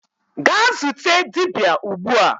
gaa zute dibia ugbua!